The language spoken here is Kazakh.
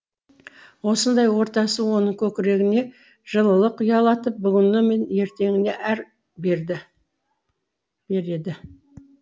осындай ортасы оның көкірегіне жылылық ұялатып бүгіні мен ертеңіне әр береді